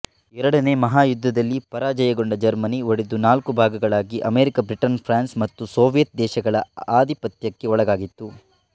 ಎರಡನೆಯ ಮಹಾಯುದ್ಧದಲ್ಲಿ ಪರಾಜಯಗೊಂಡ ಜರ್ಮನಿ ಒಡೆದು ನಾಲ್ಕು ಭಾಗಗಳಾಗಿ ಅಮೆರಿಕ ಬ್ರಿಟನ್ ಫ್ರಾನ್ಸ್ ಮತ್ತು ಸೋವಿಯತ್ ದೇಶಗಳ ಆದಿಪತ್ಯಕ್ಕೆ ಒಳಗಾಯಿತು